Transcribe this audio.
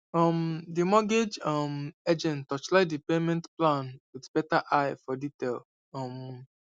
um the mortgage um agent torchlight the payment plan with better eye for detail um